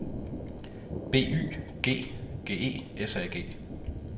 B Y G G E S A G